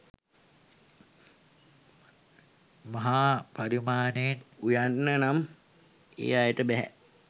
මහා පරිමාණයෙන් උයන්න නම් ඒ අයට බෑ.